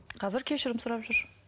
қазір кешірім сұрап жүр